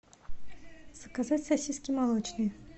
заказать сосиски молочные